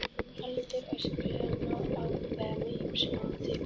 Aldur öskulaga má ákveða með ýmsu móti.